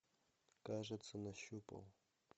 кажется нащупал